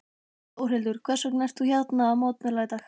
Þórhildur: Hvers vegna ert þú hérna að mótmæla í dag?